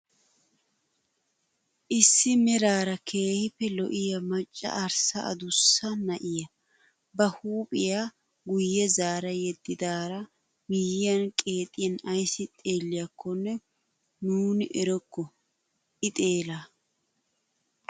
Isi meraara keehippe lo"iyaa macca arssa adussa na'iyaa ba huuphphiyaa guye zaara yediddara miyyaan qeexiyaan ayssi xeelliyakonne nuuni erokko i xeelaa.